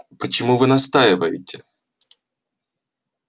почему вы настаиваете